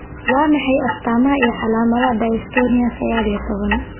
Waa maxay astamaha iyo calaamadaha Dystonia sagaal iyo tobaan?